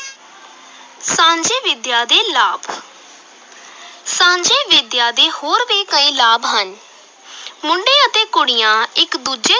ਸਾਂਝੀ ਵਿਦਿਆ ਦੇ ਲਾਭ ਸਾਂਝੀ ਵਿਦਿਆ ਦੇ ਹੋਰ ਵੀ ਕਈ ਲਾਭ ਹਨ ਮੁੰਡੇ ਅਤੇ ਕੁੜੀਆਂ ਇਕ ਦੂਜੇ